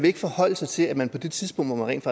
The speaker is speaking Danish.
ikke forholde sig til at man på det tidspunkt hvor man rent